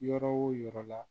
Yɔrɔ o yɔrɔ la